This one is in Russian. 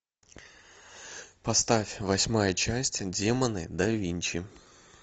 поставь восьмая часть демоны да винчи